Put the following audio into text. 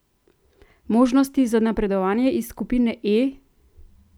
Možnosti za napredovanje iz skupine E?